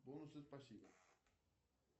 бонусы спасибо